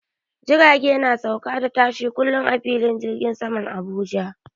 Jirage na sauka da tashi kullum a filin jirgin saman Abuja.